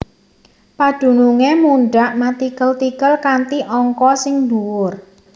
Padunungé mundhak matikel tikel kanthi angka sing dhuwur